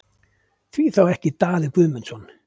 Hví þá ekki Daði Guðmundsson?